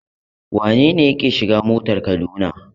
Wane ne yake shiga motar Kaduna?